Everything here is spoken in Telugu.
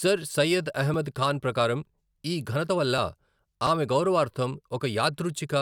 సర్ సయ్యద్ అహ్మద్ ఖాన్ ప్రకారం, ఈ ఘనత వల్ల ఆమె గౌరవార్థం ఒక యాదృచ్ఛిక